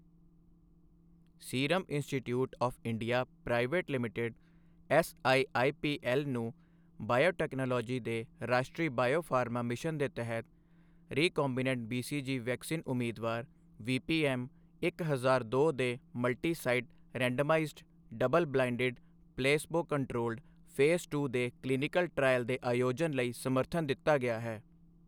Serum institute of India private limited SIIPL ਨੂੰ biotechnology ਦੇ ਰਾਸ਼ਟਰੀ ਬਾਇਓਫਾਰਮਾ ਮਿਸ਼ਨ ਦੇ ਤਹਿਤ ਰੀਕੌਂਬੀਨੈਂਟ ਬੀਸੀਜੀ ਵੈਕਸਿਨ ਉਮੀਦਵਾਰ, ਵੀਪੀਐੱਮ ਇੱਕ ਹਜ਼ਾਰ ਦੋ ਦੇ multisite randomised, double blinded placebo controlled, phase two ਦੇ ਕਲੀਨਿਕਲ ਟ੍ਰਾਇਅਲ ਦੇ ਆਯੋਜਨ ਲਈ ਸਮਰਥਨ ਦਿੱਤਾ ਗਿਆ ਹੈ।